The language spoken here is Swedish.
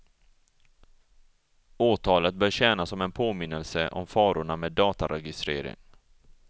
Åtalet bör tjäna som en påminnelse om farorna med dataregistrering.